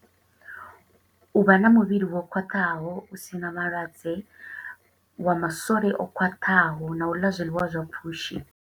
U vha na muvhili wo khwaṱhaho, u sina malwadze, wa masole o khwaṱhaho, na u ḽa zwiḽiwa zwa pfushi.